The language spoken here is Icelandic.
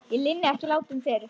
Ég linni ekki látum fyrr.